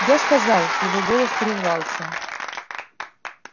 я сказал его голос прервался